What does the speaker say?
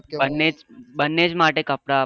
બન્ને બન્ને જ માટે કપડા આપવા ને જ.